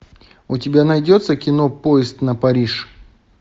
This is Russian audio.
у тебя найдется кино поезд на париж